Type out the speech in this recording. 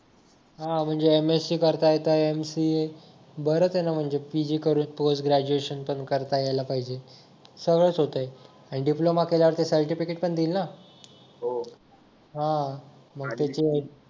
हा म्हणजे MSC करता करता MCA बरच आहे ना म्हणजे PG करेल तोच ग्रॅज्युएशन पण करता यायला पाहिजे सगळंच होतंय आणि डिप्लोमा केल्यावरती सर्टिफिकेट पण देईल ना हा